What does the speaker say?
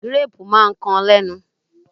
Gírápù máa ń kan lénu.